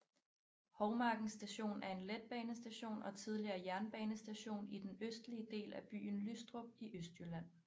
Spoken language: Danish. Hovmarken Station er en letbanestation og tidligere jernbanestation i den østlige del af byen Lystrup i Østjylland